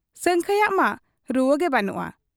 ᱥᱟᱹᱝᱠᱷᱟᱹᱭᱟᱜ ᱢᱟ ᱨᱩᱣᱟᱹᱜᱮ ᱵᱟᱹᱱᱩᱜ ᱟ ᱾